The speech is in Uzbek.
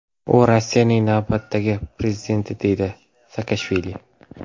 U Rossiyaning navbatdagi prezidenti”, deydi Saakashvili.